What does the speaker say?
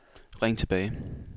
ring tilbage